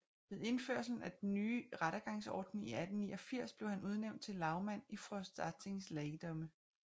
Ved indførelsen af den ny rettergangsorden i 1889 blev han udnævnt til lagmand i Frostatings Lagdømme